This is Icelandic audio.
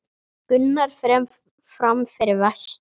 Gunnar fer fram fyrir vestan